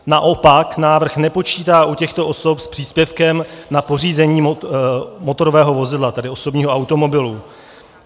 Naopak návrh nepočítá u těchto osob s příspěvkem na pořízení motorového vozidla, tedy osobního automobilu.